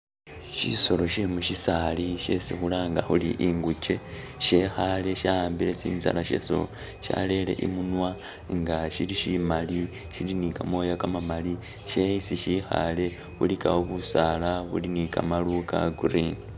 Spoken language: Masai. Shisolo she musisaali shesi khulanga khuli inguje shekhaale sha ambile tsinzala chaso, shaleyele imunwa nga shili shimali shili ne kamoya kamamali ne esi shikhaale ilikawo busaala buli ne kamaaru ka green.